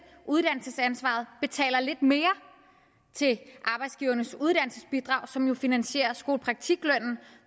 uddannelsesansvaret betaler lidt mere til arbejdsgivernes uddannelsesbidrag som jo finansierer skolepraktiklønnen